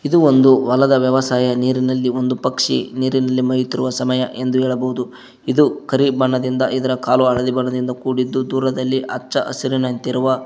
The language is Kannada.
ಇದು ಒಂದು ಹೊಲದ ವ್ಯವಸಾಯ ನೀರಿನಲ್ಲಿ ಒಂದು ಪಕ್ಷಿ ನೀರಿನಲ್ಲಿ ಮೈಯುತ್ತಿರುವ ಸಮಯ ಎಂದು ಹೇಳಬಹುದು ಇದು ಕರಿ ಬಣ್ಣದಿಂದ ಇದರ ಕಾಲು ಹಳದಿ ಬಣ್ಣದಿಂದ ಕೂಡಿದ್ದು ದೂರದಲ್ಲಿ ಹಚ್ಚ ಹಸಿರಿನಂತಿರುವ--